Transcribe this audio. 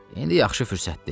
İndi yaxşı fürsətdir.